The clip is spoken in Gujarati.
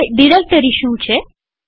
હવે ડિરેક્ટરી શું છે